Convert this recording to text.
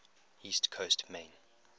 east coast maine